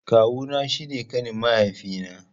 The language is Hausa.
Kawu na shi ne ƙanin mahaifi na.